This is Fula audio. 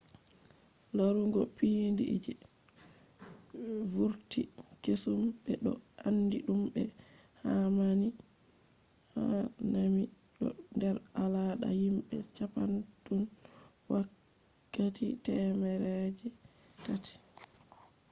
larugo piindi je vurti kesum be do andi dum be hanami do der alada himbe japan tun wakkati temere je taati